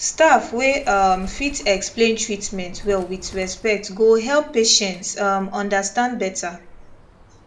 staff wey um fit explain treatment well with respect go help patients um understand better